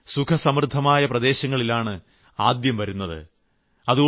dengue സുഖസമൃദ്ധമായ പ്രദേശങ്ങളിലാണ് ആദ്യം വരുന്നത്